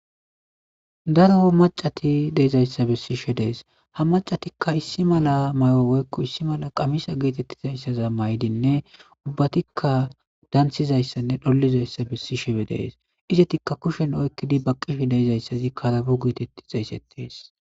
Daro macati deizayisa besishe deas ha macatika issi mala mayo woyikko issi mala qamise getetizayisa mayidi ubatika dansizayisane dolizayisa besishe deas izatika kushen oyiqidi baqishe dizaysazi karabo getetizaysan xesetes.